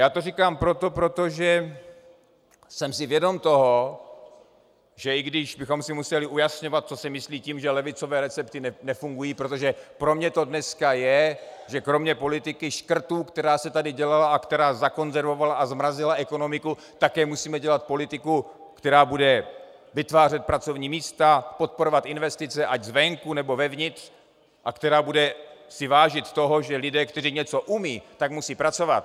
Já to říkám proto, protože jsem si vědom toho, že i když bychom si museli ujasňovat, co se myslí tím, že levicové recepty nefungují, protože pro mě to dneska je, že kromě politiky škrtů, která se tady dělala a která zakonzervovala a zmrazila ekonomiku, také musíme dělat politiku, která bude vytvářet pracovní místa, podporovat investice, ať zvenku, nebo zevnitř, a která bude si vážit toho, že lidé, kteří něco umějí, tak musí pracovat.